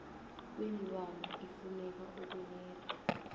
kweenlwana ifuneka ukuletha